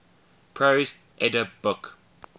prose edda book